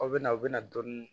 Aw bɛ na aw bɛ na dɔɔnin